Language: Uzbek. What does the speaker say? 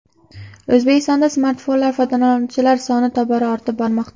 O‘zbekistonda smartfonlar foydalanuvchilari soni tobora ortib bormoqda.